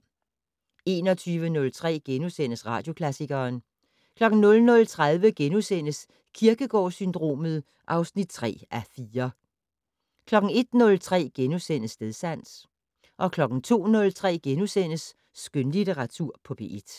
21:03: Radioklassikeren * 00:30: Kierkegaard-syndromet (3:4)* 01:03: Stedsans * 02:03: Skønlitteratur på P1 *